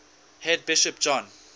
head bishop john